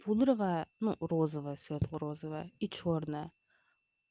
пудровая ну розовая светло розовая и чёрная